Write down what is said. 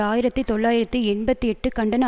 ஆயிரத்தி தொள்ளாயிரத்து எண்பத்தி எட்டு கண்டன